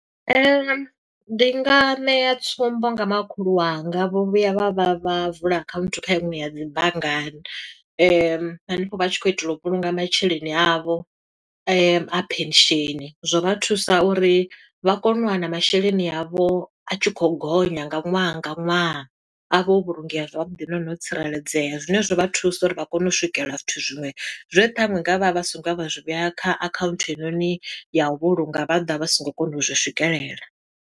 Ndi nga ṋea tsumbo nga makhulu wanga, vho vhuya vha vha vha vula akhaunthu kha iṅwe ya dzi banngani. Hanefho vha tshi khou itela u vhulunga masheleni a vho, a pension. Zwo vha thusa uri vha kone u wana masheleni a vho a tshi khou gonya nga ṅwaha nga ṅwaha, a vha o vhulungeya zwavhuḓi nahone o tsireledzea. Zwine zwa vha thusa uri vha kone u swikela zwithu zwiṅwe zwe ṱhaṅwe nga vha vha songo ya vha zwi vheya kha akhaunthu heinoni ya u vhulunga, vha ḓa vha songo kona u zwi swikelela.